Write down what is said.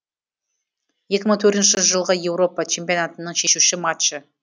екі мың төртінші жылғы еуропа чемпионатының шешуші матчы